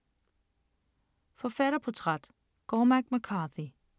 Forfatterportræt: Cormac McCarthy